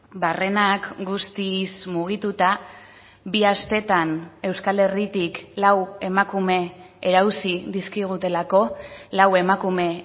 barrenak guztiz mugituta bi astetan euskal herritik lau emakume erauzi dizkigutelako lau emakume